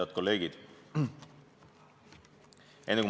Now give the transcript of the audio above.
Head kolleegid!